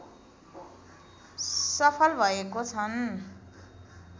सफल भएको छन्।